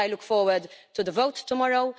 I look forward to the vote tomorrow.